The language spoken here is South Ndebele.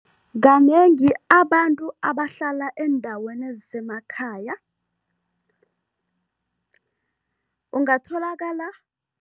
Kanengi abantu abahlala eendaweni ezisemakhaya, ungatholakala